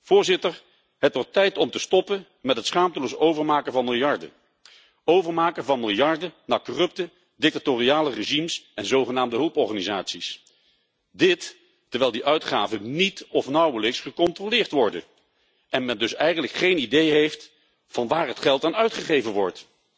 Voorzitter, het wordt tijd om te stoppen met het schaamteloos overmaken van miljarden, overmaken van miljarden naar corrupte, dictatoriale regimes en zogenaamde hulporganisaties. Dit terwijl die uitgaven niet of nauwelijks gecontroleerd worden en men dus eigenlijk geen idee heeft van waar het geld aan uitgegeven wordt.